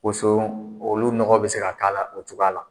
Boso olu nɔgɔ be se k'hala fɛ o cogoya la.